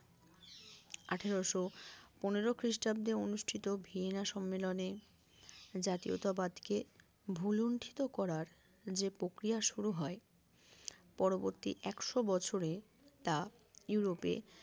আঠারোশো পনেরো খ্রিস্টাব্দে অনুষ্ঠিত ভিয়েনা সম্মেলনের জাতীয়তাবাদ কে ভুলন্ঠিত করার যে প্রক্রিয়া শুরু হয় পরবর্তী একশো বছরে তা ইউরোপে